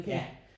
Ja